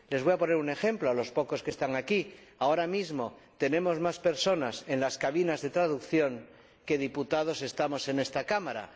Les voy a poner un ejemplo a los pocos que están aquí. Ahora mismo tenemos a más personas en las cabinas de interpretación que diputados en esta Cámara.